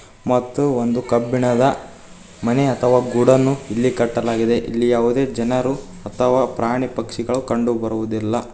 ಮತ್ತು ಒಂದು ಕಬ್ಬಿಣದ ಮನೆ ಅಥವ ಗೋಡೌನ್ ಇಲ್ಲಿ ಕಟ್ಟಲಾಗಿದೆ ಇಲ್ಲಿ ಜನರು ಅಥವ ಪ್ರಾಣಿ ಪಕ್ಷಿಗಳು ಕಂಡು ಬರುವುದಿಲ್ಲ.